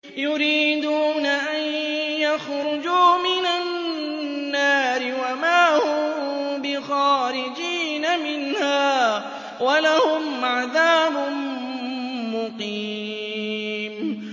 يُرِيدُونَ أَن يَخْرُجُوا مِنَ النَّارِ وَمَا هُم بِخَارِجِينَ مِنْهَا ۖ وَلَهُمْ عَذَابٌ مُّقِيمٌ